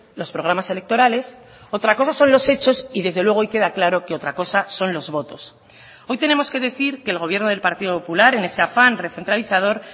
los programas electorales otra cosa son los hechos y desde luego hoy queda claro que otra cosa son los votos hoy tenemos que decir que el gobierno del partido popular en ese afán recentralizador